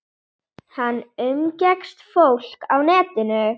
Og konur þurfa að þora að standa einar, maður má aldrei gleyma því!